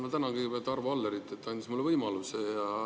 Ma tänan kõigepealt Arvo Allerit, et ta andis mulle selle võimaluse.